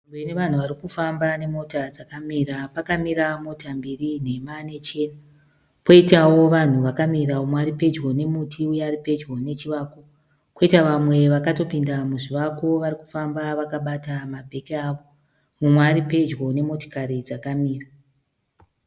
Nzvimbo inevanhu varikufamba nemota dzakamira. Pakamira mota mbiri nhema nechena. Poitawo vanhu vakamira, mumwe aripedyo nemuti uye aripedyo nechivako. Koita vamwe vakatopinda muzvivako varikufamba vakabata mabheki avo. Mumwe ari pedyo nemotikari dzakamira.